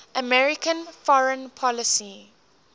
american foreign policy